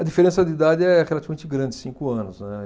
A diferença de idade é relativamente grande, cinco anos, né.